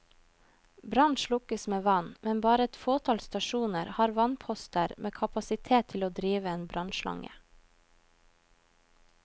Brann slukkes med vann, men bare et fåtall stasjoner har vannposter med kapasitet til å drive en brannnslange.